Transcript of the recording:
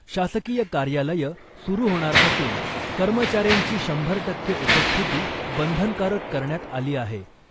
शासकीय कार्यालयं सुरु होणार असून , कर्मचाऱ्यांची शंभर टक्के उपस्थिती बंधनकारक करण्यात आली आहे .